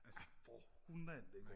ja for hulan da